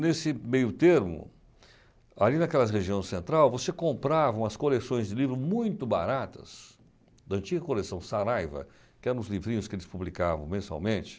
Nesse meio termo, ali naquela região central, você comprava umas coleções de livros muito baratas, da antiga coleção Saraiva, que eram os livrinhos que eles publicavam mensalmente.